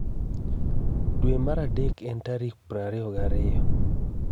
Dwe mar Adek en tarik 22.